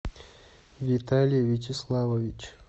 виталий вячеславович